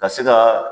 Ka se ka